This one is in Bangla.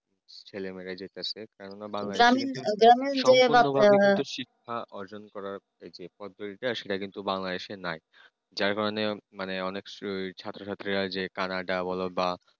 ছেলেমেয়েরা যেটা শেখানো না শিক্ষা অর্জন করা অঞ্চলটা সেটা কিন্তু Bangladesh নাই যার কারণে যার কারণে অনেক ছাত্রছাত্রী কাজে Canada বল বা